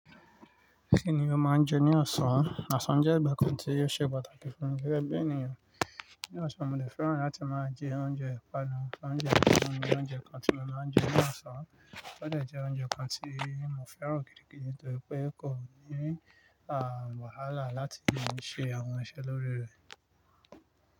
Kí ni o máa ń jẹ ní ọ̀sán? Ọ̀sán jẹ́ ìgbà kan tí ó ṣe pàtàkì fún mi gege bí ènìyàn. Ní ọ̀sán, mo dè fẹ́ràn láti máa jẹ oúnjẹ ìpanu. Oúnjẹ ọ̀sán ni oúnjẹ kan tí mo máa ń jẹ ní ọ̀sán. Ó dẹ̀ jẹ́ oúnjẹ kan tí mo fẹ́ràn gidigidi nítorí pé kò ní, wàhálà láti máa ṣe àwọn iṣẹ́ lórí rẹ̀.